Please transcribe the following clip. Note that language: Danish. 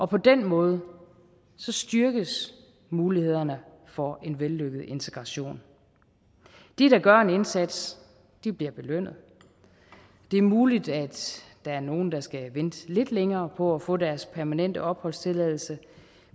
på den måde styrkes mulighederne for en vellykket integration de der gør en indsats bliver belønnet det er muligt at der er nogle der skal vente lidt længere på at få deres permanente opholdstilladelse